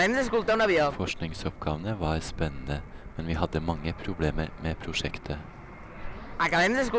Forskningsoppgavene var spennende, men vi hadde mange problemer med prosjektet.